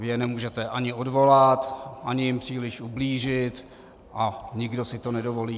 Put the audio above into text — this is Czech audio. Vy je nemůžete ani odvolat, ani jim příliš ublížit a nikdo si to nedovolí.